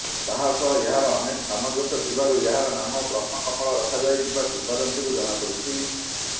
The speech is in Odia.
ତାହା ସହ ଏହାର ଅନେକ ସାମଞ୍ଜସ୍ୟ ଥିବାରୁ ଏହାର ନାମ ବ୍ରହ୍ମ କମଳ ରଖାଯାଇଥିବା କିମ୍ବଦନ୍ତୀରୁ ଜଣାପଡିଛି